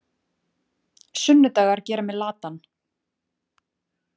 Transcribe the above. Sunnudagar gera mig latan.